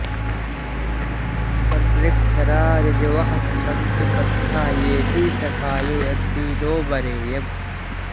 अनृक्षरा ऋजवः सन्तु पन्था येभिः सखायो यन्ति नो वरेयम्